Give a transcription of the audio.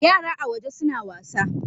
Yara a waje suna wasa.